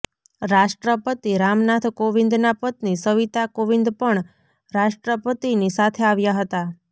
રાષ્ટ્રપતિ રામનાથ કોવિંદના પત્ની સવિતા કોવિંદ પણ રાષ્ટ્રપતિની સાથે આવ્યા હતા